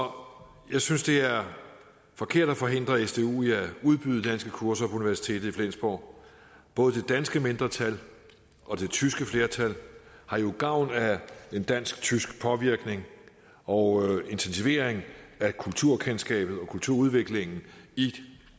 jeg synes det er forkert at forhindre sdu i at udbyde danske kurser på universitetet i flensborg både det danske mindretal og det tyske flertal har jo gavn af en dansk tysk påvirkning og en intensivering af kulturkendskabet og kulturudviklingen i